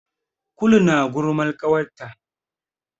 Kulu na gulman ƙawarta.